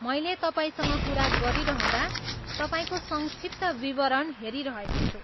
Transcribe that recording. मैले तपाईँसँग कुरा गरिरहँदा तपाईँको संक्षिप्त विवरण हेरिरहेको छु।